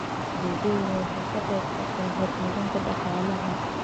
Adeegyadani waxay ka qayb qaataan horumarinta dhaqaalaha.